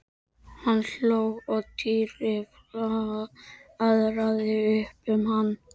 Hann hló og Týri flaðraði upp um hann.